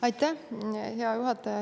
Aitäh, hea juhataja!